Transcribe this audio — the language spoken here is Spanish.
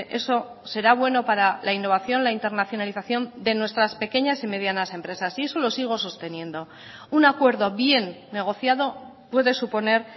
eso será bueno para la innovación la internacionalización de nuestras pequeñas y medianas empresas y eso lo sigo sosteniendo un acuerdo bien negociado puede suponer